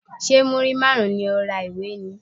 Ṣé múrí márùn-ún ni o ra ìwé ni?